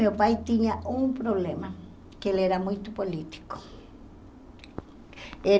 Meu pai tinha um problema, que ele era muito político.